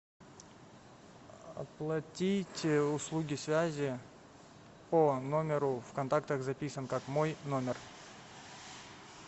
оплатить услуги связи по номеру в контактах записан как мой номер